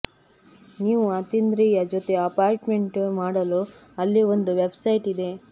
ನೀವು ಅತೀಂದ್ರಿಯ ಜೊತೆ ಅಪಾಯಿಂಟ್ಮೆಂಟ್ ಮಾಡಲು ಅಲ್ಲಿ ಒಂದು ವೆಬ್ಸೈಟ್ ಇದೆ